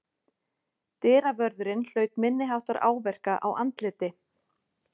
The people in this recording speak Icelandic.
Dyravörðurinn hlaut minniháttar áverka á andliti